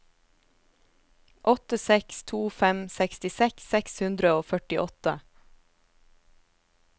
åtte seks to fem sekstiseks seks hundre og førtiåtte